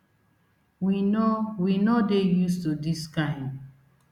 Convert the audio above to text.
we no we no dey used to dis kain